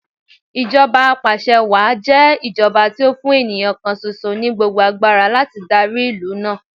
Ìjọba apàṣẹwàá jẹ́ ìjọba tí ó fún ènìyàn kan ṣoṣo ní gbogbo agbára láti darí ìlú náà.